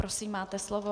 Prosím, máte slovo.